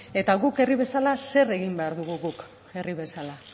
eta guk herri bezala zer egin behar dugu